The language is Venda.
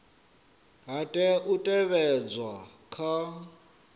ha tea u teavhedzwa kha